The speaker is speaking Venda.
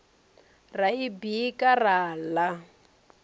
ra i bika ra ḽa